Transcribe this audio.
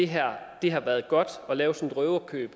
her sag